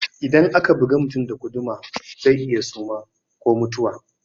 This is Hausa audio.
Idan aka bugi mutum da guduma zai iya suma ko ma mutuwa